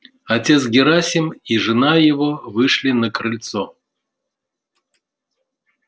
отец герасим и жена его вышли на крыльцо